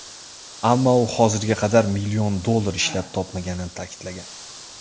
Ammo u hozirga qadar million dollar ishlab topmaganini ta’kidlagan.